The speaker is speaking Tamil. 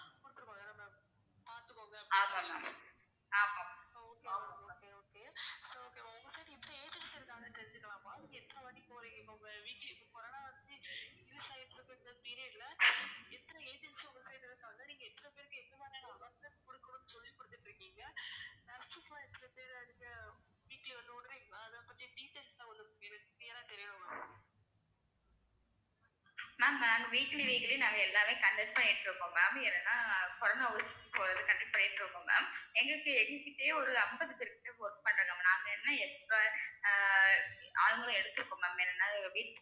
maam நாங்க weekly weekly நாங்க எல்லாமே conduct பண்ணிட்டிருக்கோம் ma'am ஏன்னா corona ஊசி போடறதுக்கு conduct பண்ணிட்டிருக்கோம் ma'am எங்களுக்கு எங்ககிட்டயே ஒரு அம்பது பேர் கிட்ட work பண்றாங்க ma'am நாங்க என்ன expect ஆஹ் ஆளுங்களும் எடுத்துருக்கோம் maam